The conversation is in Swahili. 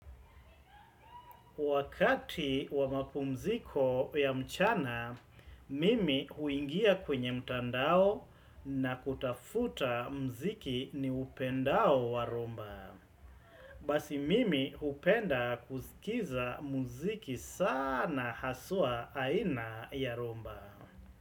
Wakati wamapumziko ya mchana, mimi huingia kwenye mtandao na kutafuta mziki ni upendao wa rumba. Basi mimi upenda kuzikiza mziki sana hasua aina ya rumba.